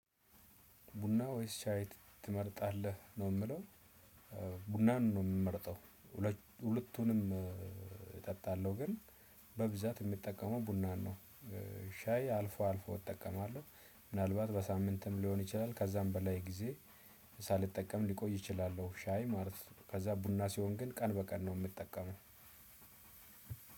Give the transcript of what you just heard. ቡና ወይስ ሻይ ትመርጣለህ ነው የሚለው? ቡናን ነው የምመርጠው። ሁለቱንም እጠጣለሁ ግን በብዛት የምጠቀመው ቡናን ነው። ሻይ አልፎ አልፎ እጠቀማለሁ። ምናልባት በሳምንትም ሊሆን ይችላል ከዛም በላይ ጊዜ ሳልጠቀም ሊቆይ እችላለሁ። ሻይ ማለት ከዛ ቡና ሲሆን ግን ቀን በቀን ነው የምጠቀመው።